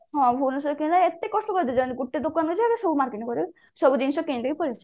ହଁ ଭୁବନେଶ୍ଵରରେ କିଣିବା ଏତେ କଷ୍ଟ ଗୋଟେ ଦୋକାନକୁ ଯାଇକି ସବୁ marketing କରିକି ସବୁ କିଣିଦେଇକି ପଳେଈ ଆସିବା